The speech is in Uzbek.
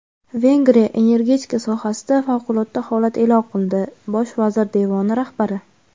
Vengriya energetika sohasida favqulodda holat e’lon qildi – Bosh vazir devoni rahbari.